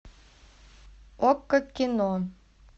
окко кино